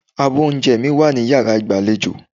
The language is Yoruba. Abọ́ oúnjẹ mi wà ní yàrá ìgbàlejò.